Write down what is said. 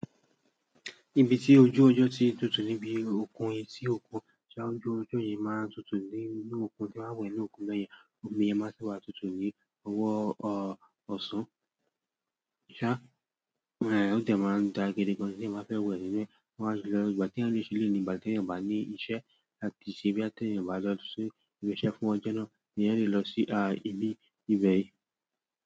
Ibi tí ojú ọjọ́ ti ń tutù níbi òkun yi tí òkun tí àwọn ojú ọjọ́ yìí máa ń tutù ní inú òkun tí wọ́n wẹ̀ inú òkun be yen, omi yẹn má tí wà tutù ní owó ọ̀ọ̀sán. Ṣá, èé òde máa ń dàa gidi gan tí eeyan bá fẹ́wẹ̀ nínú ẹ máa ṣì lọ. Ìgbà tí eeyań ṣe eleyi nì, ìgbà tí eeyań o bà ní iṣẹ́ láti ṣe bí à tí eeyań o bá lọ ṣi ìbi iṣẹ́ fún ọjo náà, eeyan le lọ sí á ile iwẹ̀.